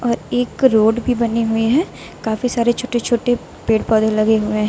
और एक रोड भी बने हुए हैं काफी सारे छोटे छोटे पेड़ पौधे लगे हुए हैं।